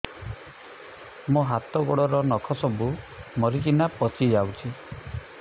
ମୋ ହାତ ଗୋଡର ନଖ ସବୁ ମରିକିନା ପଚି ଯାଉଛି